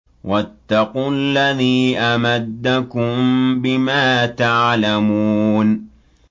وَاتَّقُوا الَّذِي أَمَدَّكُم بِمَا تَعْلَمُونَ